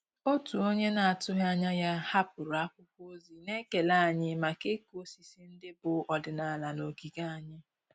Òtù ónyé nà-àtụ́ghị́ ányà yá hàpụ́rụ̀ ákwụ́kwọ́ ózì nà-ékélé ànyị́ màkà ị́kụ́ ósísí ndị́ bù ọ́dị́nàlà nà ògígè ànyị́.